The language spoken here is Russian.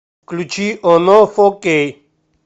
включи оно фо кей